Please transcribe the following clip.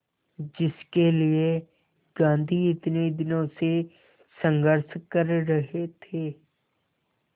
जिसके लिए गांधी इतने दिनों से संघर्ष कर रहे थे